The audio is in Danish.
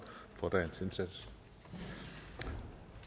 for dagens indsats